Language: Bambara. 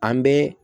An bɛ